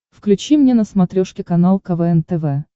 включи мне на смотрешке канал квн тв